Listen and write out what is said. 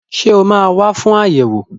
Ṣé ó máa wà fún ayẹwo?